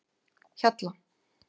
Hjalla